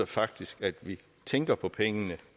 faktisk at vi tænker på pengene